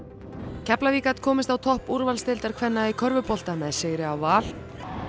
Keflavík gat komist á topp úrvalsdeildar kvenna í körfubolta með sigri á Val